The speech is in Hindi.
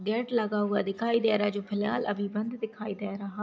गेट लगा हुआ दिखाई दे रहा है जो फिलहाल अभी बंद दिखाई दे रहा--